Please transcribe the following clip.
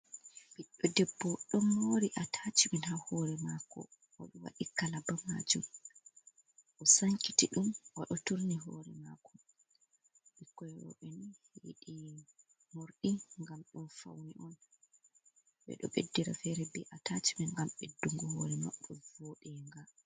Ɓiɗdo debbo ɗon mori atacimen ha hore mako oɗo waɗi kalaba majum o sankiti ɗum oɗo turni hore mako ɓikko roɓeni yiɗi morɗi ngam ɗum faune on ɓeɗo ɓeddira fere be atacimin ngam ɓeddungo hore mabo voɗenga.